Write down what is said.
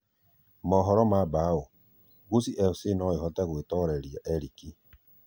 (Mohoro ma Bao) Gusii FC no ĩhote gũĩtoreria Erick.